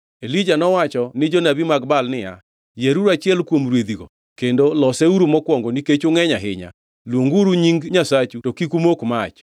Elija nowacho ni jonabi mag Baal niya, “Yieruru achiel kuom rwedhigo kendo loseuru mokwongo nikech ungʼeny ahinya. Luonguru nying nyasachu to kik umok mach.”